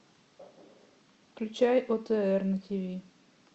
включай отр на тв